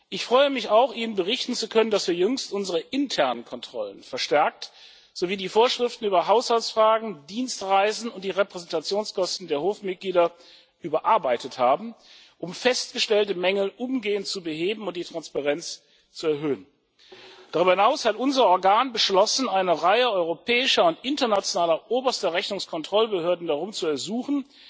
Ich freue mich auch, Ihnen berichten zu können, dass wir jüngst unsere internen Kontrollen verstärkt sowie die Vorschriften über Haushaltsfragen, Dienstreisen und die Repräsentationskosten der Hofmitglieder überarbeitet haben, um festgestellte Mängel umgehend zu beheben und die Transparenz zu erhöhen. Darüber hinaus hat unser Organ beschlossen, eine Reihe europäischer und internationaler oberster Rechnungskontrollbehörden darum zu ersuchen,